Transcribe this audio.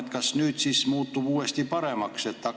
Ja kas nüüd siis muutub uuesti paremaks?